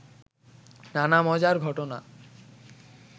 নানা মজার ঘটনা